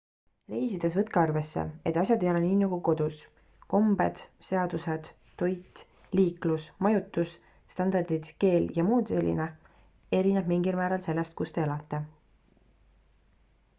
reisides võtke arvesse et asjad ei ole nii nagu kodus kombed seadused toit liiklus majutus standardid keel jms erineb mingil määral sellest kus te elate